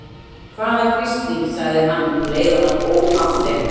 Hvaða grisling. sagði hann um leið og hann óð að þeim.